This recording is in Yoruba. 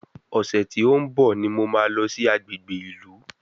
Ọ̀sẹ̀ tí ó ń bọ̀ ni mo máa lọ sí agbègbè ìlú